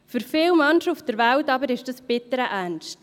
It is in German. Für viele Menschen auf der Welt aber ist es bitterer Ernst.